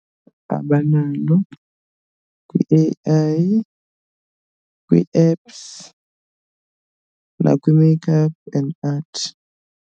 Abanalo kwi-A_I, kwii-apps nakwi-makeup and art.